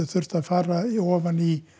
þurft að fara ofan í